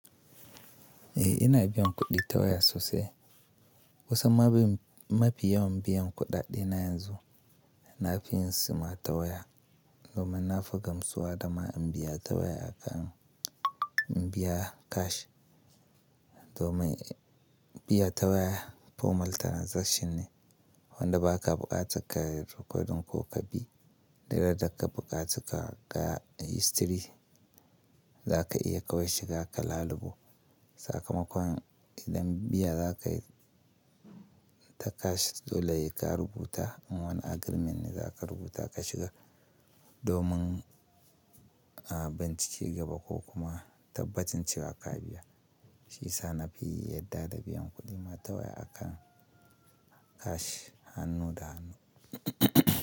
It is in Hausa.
Eh ina biyan kuɗi ta waya sosai. Kusan ma fi yawan biyan kuɗaɗe na yanzu na fi yin su ma ta waya domin na fi gamsuwa da ma in biya ta waya akan in biya cash. Domin biya ta waya formal transaction ne wanda ba ka buƙaci ka yi rikodin ko ka bi duk ran da ka buƙaci ka ga history za ka iya kawai shiga ka lalubo sakamakon idan biya za ka yi ta cash dole sai ka rubuta in wani agreement ne za ka rubuta ka shiga domin a bincike gaba ko kuma tabbacin cewa ka biya. Shi sa na fi yadda da biyan kuɗi ma ta waya akan cash hannu da hannu.